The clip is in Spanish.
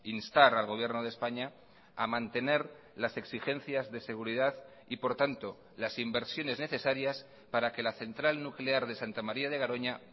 instar al gobierno de españa a mantener las exigencias de seguridad y por tanto las inversiones necesarias para que la central nuclear de santa maría de garoña